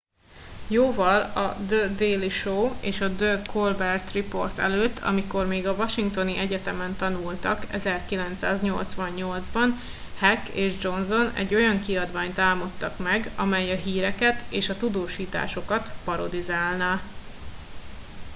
jóval a the daily show és a the colbert report előtt amikor még a washingtoni egyetemen tanultak 1988 ban heck és johnson egy olyan kiadványt álmodtak meg amely a híreket és a tudósításokat parodizálná